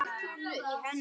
Hann átti engin börn.